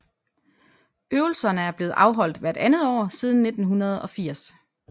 Øvelserne er blevet afholdt hvert andet år siden 1980